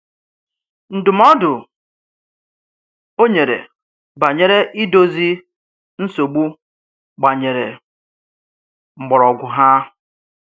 Ndụ̀mòdụ̀ o nyèrè bànyèrè ídòzì nsogbù gbànyèrè m̀kpòrògwù hà.